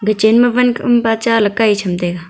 ho chenma van khampa cha ley kai chamtaiga.